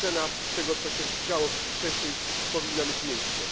Ocena tego, co się działo w wcześniej powinna mieć miejsce.